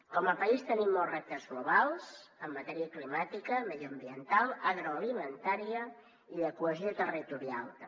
com a país tenim els reptes globals en matèria climàtica mediambiental agroalimentària i de cohesió territorial també